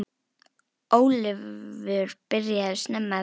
Ólafur byrjaði snemma að vinna.